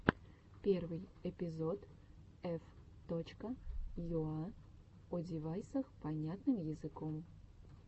первый эпизод ф точка юа о девайсах понятным языком